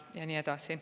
Ja nii edasi.